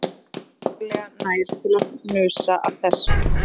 Hún færði sig varlega nær til að hnusa af þessu